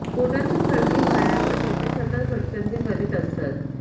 पोटाची खळगी भरण्यासाठी ते सतत भटकंती करीत असतात